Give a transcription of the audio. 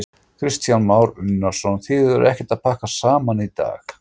Kristján Már Unnarsson: Þið eruð ekkert að pakka saman í dag?